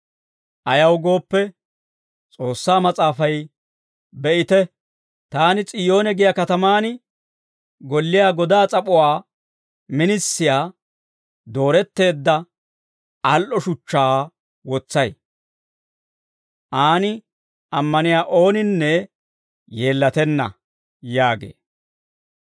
Ayaw gooppe, S'oossaa Mas'aafay, «Be'ite, taani S'iyoone giyaa katamaan golliyaa godaa s'ap'uwaa minisiyaa, dooretteedda, al"o shuchchaa wotsay; aan ammaniyaa ooninne yeellatenna» yaagee.